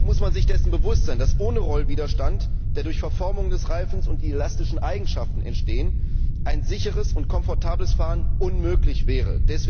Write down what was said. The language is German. Jedoch muss man sich dessen bewusst sein, dass ohne Rollwiderstand, der durch Verformung des Reifens und die elastischen Eigenschaften entsteht, ein sicheres und komfortables Fahren unmöglich wäre.